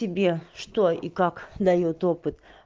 тебе что и как даёт опыт